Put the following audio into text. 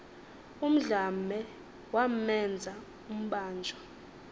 undlambe wamenza umbanjwa